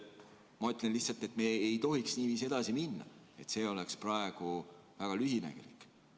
Ma ütlen lihtsalt, et me ei tohiks niiviisi edasi minna, see oleks praegu väga lühinägelik.